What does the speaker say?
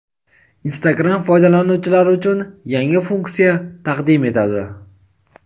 Instagram foydalanuvchilari uchun yangi funksiya taqdim etadi.